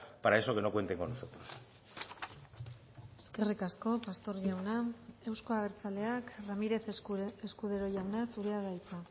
para eso que no cuente con nosotros eskerrik asko pastor jauna euzko abertzaleak ramírez escudero jauna zurea da hitza